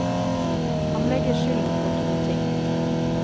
Han legger skylden på to ting.